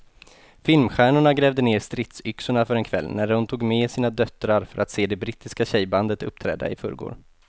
Filmstjärnorna grävde ned stridsyxorna för en kväll när de tog med sina döttrar för att se det brittiska tjejbandet uppträda i förrgår.